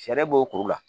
Sariya b'o kuru la